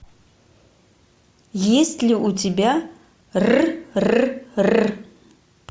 есть ли у тебя р р р